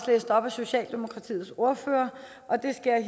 læst op socialdemokratiets ordfører og det skal